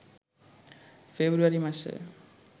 ফেব্রুয়ারি মাসে